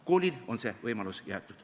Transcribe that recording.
Koolile on see võimalus jäetud.